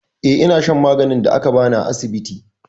Eh, ina shan maganin da aka bani a asibiti.